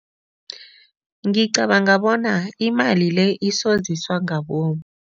Ngicabanga bona imali le isoziswa ngabomu.